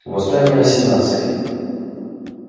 восстание на сенатской